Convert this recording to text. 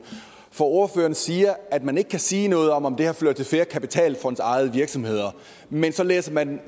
for ordføreren siger at man ikke kan sige noget om om det har ført til flere kapitalfondsejede virksomheder men så læser man